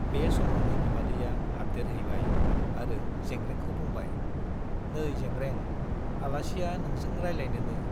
बे समावनो बिमादैया हाबदेरहैबाय आरो जेंग्रेंखौ बुंबाय- नै जेग्रें, आलासिया नोंजों रायलायनोनो ।